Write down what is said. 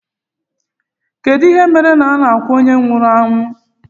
Gịnị mere na a na-akwa onye nwụrụ anwụ